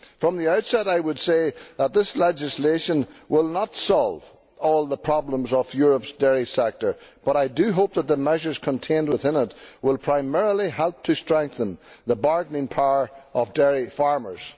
From the outset I would say that this legislation will not solve all the problems of Europe's dairy sector, but I do hope that the measures contained within it will primarily help to strengthen the bargaining power of dairy farmers.